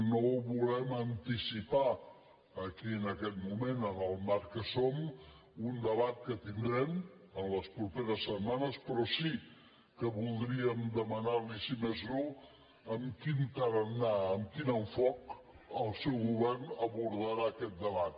no volem anticipar aquí en aquest moment en el marc que som un debat que tindrem en les properes setmanes però sí que voldríem demanar li si més no amb quin tarannà amb quin enfoc el seu govern abordarà aquest debat